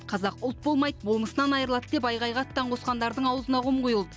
қазақ ұлт болмайды болмысынан айырылады деп айқайға аттан қосқандардың аузына құм құйылды